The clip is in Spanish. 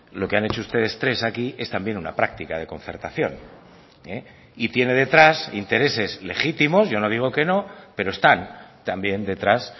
lo que han hecho ustedes tres aquí es también una práctica de concertación y tiene detrás intereses legítimos yo no digo que no pero están también detrás